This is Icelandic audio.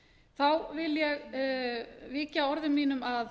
þá vil ég víkja orðum mínum að